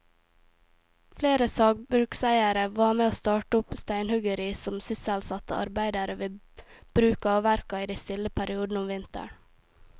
Flere sagbrukseiere var med å starte opp steinhuggeri som sysselsatte arbeidere ved bruka og verka i de stille periodene om vinteren.